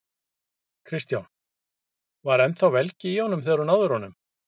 Kristján: Var ennþá velgi í honum þegar þú náðir honum?